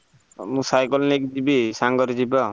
ଆଉ ମୁଁ ସାଇକେଲ ନେଇକି ଯିବି ସାଙ୍ଗରେ ଯିବା ଆଉ।